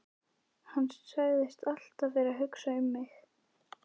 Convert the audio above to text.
Hann sagðist alltaf vera að hugsa um mig.